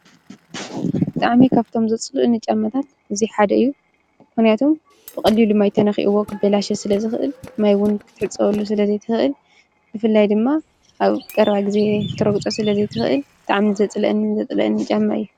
ጫማ ኣብ እግሪ ዝለበስ ናይ ልብሲ ኣካል እዩ። እግሪ ካብ ጉድኣትን ብርድን ንምጥቃዕ ይሕግዝ። ጫማ ብቅጥዒ፣ ቀለምን ዓይነትን ይፈልይ።